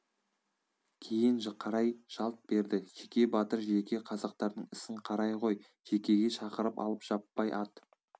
кейін қарай жалт берді жеке батыр жеке қазақтардың ісін қарай ғой жекеге шақырып алып жаппай ат